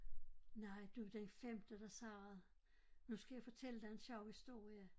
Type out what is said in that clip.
Nej du den femte der siger det nu skal jeg fortælle dig en sjov historie